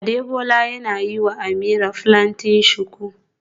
Adebola yana yiwa Ameerah plaiting shuku